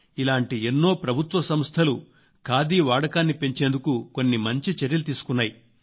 ఇలాంటి ఎన్నో ప్రభుత్వ సంస్థలు ఖాదీ వాడకాన్ని పెంచేందుకు కొన్ని మంచి చర్యలు తీసుకున్నాయి